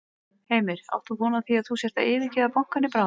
Heimir: Átt þú von á því að þú sért að yfirgefa bankann í bráð?